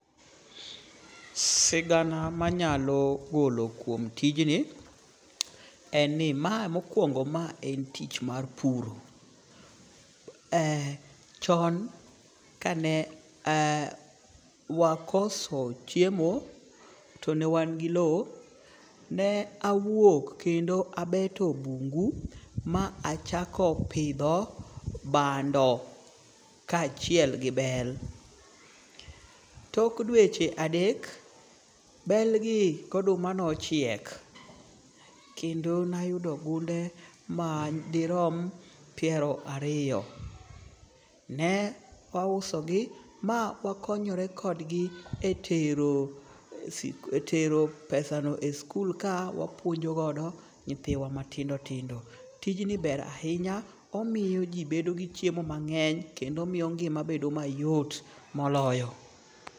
Sigana manyalo golo kuom tijni en ni ma mokwongo ma en tich mar puro. Chon kane wakoso chiemo to ne wan gi low, ne awuok kendo abeto bungu ma achako pidho bando kachiel gi bel. Tok dweche adek, bel gi goduma nochiek. Kendo nayudo gunde madirom piero ariyo. Ne auso gi ma wakonyore kodgi e tero pesano e sikul ka wapuonjo godo nyithiwa matindo tindo. Tijni ber ahinya omiyo ji bedo gi chiemo mang'eny kendo omiyo ngima bedo mayot moloyo.